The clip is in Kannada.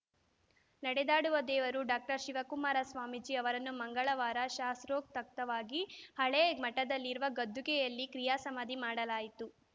ನಡೆದಾಡುವ ದೇವರು ಡಾಕ್ಟರ್ ಶಿವಕುಮಾರ ಸ್ವಾಮೀಜಿ ಅವರನ್ನು ಮಂಗಳವಾರ ಶಾಸೊತ್ರೕಕ್ತವಾಗಿ ಹಳೇ ಮಠದಲ್ಲಿರುವ ಗದ್ದುಗೆಯಲ್ಲಿ ಕ್ರಿಯಾ ಸಮಾಧಿ ಮಾಡಲಾಯಿತು